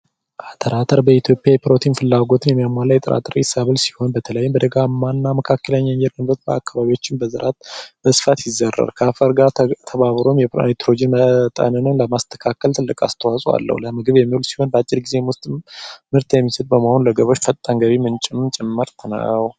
አተር በኢትዮጵያ የምግብ ፍላጎትን የሚያሟላ የጥራጥሬ ሰብል ሲሆን በተለይም በደጋማ እና የመካከለኛ የአየር ንብረት ባለባቸው አካባቢዎች በስፋት ይዘራል ጋር ከአፈር ጋር ተባብሮ የናይትሮጅን መጠንንም ለማስተካከል ትልቅ አስተዋጽኦ አለዉ። በአጭር ጊዜ ውስጥ ምርት የሚሰጥ በመሆኑ ለገበሬው ፈጣን የገቢ ምንጭ ጭምርትም ነው።